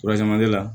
la